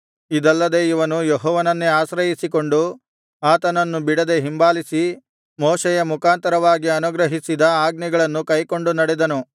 ಇದಲ್ಲದೆ ಇವನು ಯೆಹೋವನನ್ನೇ ಆಶ್ರಯಿಸಿಕೊಂಡು ಆತನನ್ನು ಬಿಡದೆ ಹಿಂಬಾಲಿಸಿ ಮೋಶೆಯ ಮುಖಾಂತರವಾಗಿ ಅನುಗ್ರಹಿಸಿದ ಆಜ್ಞೆಗಳನ್ನು ಕೈಕೊಂಡು ನಡೆದನು